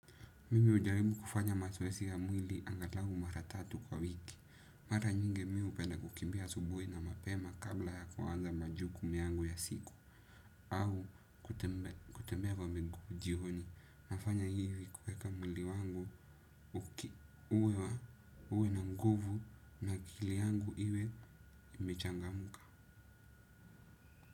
Mimi hujaribu kufanya mazoezii ya mwili angalau mara tatu kwa wiki. Mara nyingi mi hupenda kukimbia asubuhi na mapema kabla ya kuanza majukumu yangu ya siku. Au kutembea kwa miguu jioni. Nafanya hivi kueka mwili wangu uki uwe wa uwe na nguvu na akili yangu iwe ime changamka.